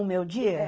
O meu dia?